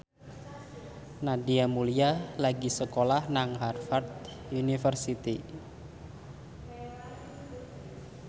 Nadia Mulya lagi sekolah nang Harvard university